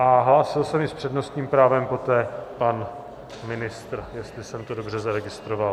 A hlásil se mi s přednostním právem poté pan ministr, jestli jsem to dobře zaregistroval.